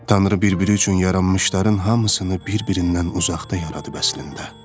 Tanrı bir-biri üçün yaranmışların hamısını bir-birindən uzaqda yaradıb əslində.